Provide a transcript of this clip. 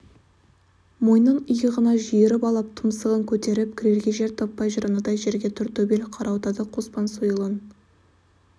мойнын иығына жиырып алып тұмсығын көтеріп кірерге жер таппай жүр анадай жерде тортөбел қарауытады қоспан сойылын